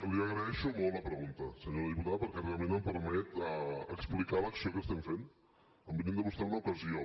li agraeixo molt la pregunta senyora diputada perquè realment em permet explicar l’acció que estem fent em brinda vostè una ocasió